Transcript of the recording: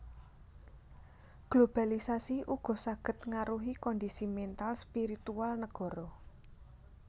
Globalisasi ugo saged ngaruhi kondisi mèntal spiritual négoro